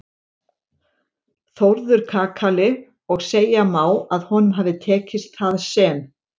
Þórður kakali og segja má að honum hafi tekist það sem